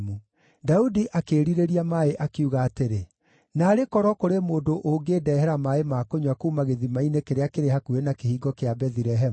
Daudi akĩĩrirĩria maaĩ, akiuga atĩrĩ, “Naarĩ korwo kũrĩ mũndũ ũngĩndehera maaĩ ma kũnyua kuuma gĩthima-inĩ kĩrĩa kĩrĩ hakuhĩ na kĩhingo kĩa Bethilehemu!”